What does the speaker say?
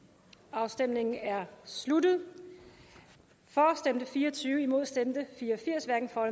afstemningen er sluttet for stemte fire og tyve imod stemte fire og firs hverken for